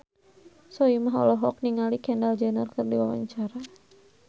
Soimah olohok ningali Kendall Jenner keur diwawancara